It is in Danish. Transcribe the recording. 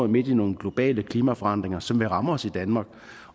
midt i nogle globale klimaforandringer som vil ramme os i danmark